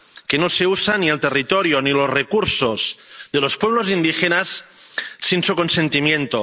que no se usan ni el territorio ni los recursos de los pueblos indígenas sin su consentimiento.